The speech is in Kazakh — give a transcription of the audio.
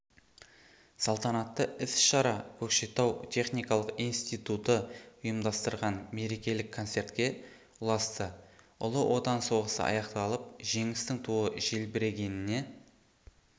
салтанатты іс-шара көкшетау техникалық институты ұйымдастырған мерекелік концертке ұласты ұлы отан соғысы аяқталып жеңістің туы желбірегеніне